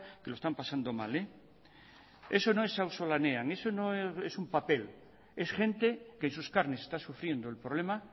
que lo están pasando mal eso no es auzolanean eso no es un papel es gente que en sus carnes está sufriendo el problema